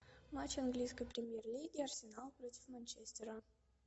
матч английской премьер лиги арсенал против манчестера